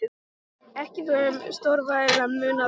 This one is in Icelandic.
Ekki er þó um stórvægilegan mun að ræða.